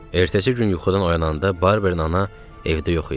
Ertəsi gün yuxudan oyananda Barbern ana evdə yox idi.